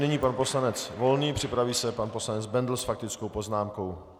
Nyní pan poslanec Volný, připraví se pan poslanec Bendl s faktickou poznámkou.